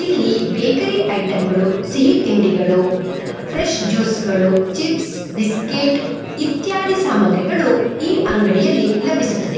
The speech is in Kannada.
ಇಲ್ಲಿ ಬೇಕರಿ ಐಟಂ ಗಳು ಸಿಹಿ ತಿಂಡಿಗಳು ಫ್ರೆಸ್ ಜ್ಯೂಸ್ ಗಳು ಚಿಪ್ಸ್ ಬಿಸ್ಕೆಟ್ ಇತ್ಯಾದಿ ಸಾಮಗ್ರಿಗಳು ಈ ಅಂಗಡಿಯಲ್ಲಿ ಲಭಿಸುತ್--